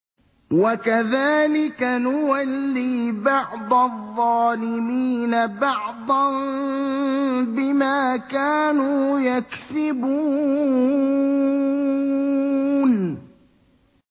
وَكَذَٰلِكَ نُوَلِّي بَعْضَ الظَّالِمِينَ بَعْضًا بِمَا كَانُوا يَكْسِبُونَ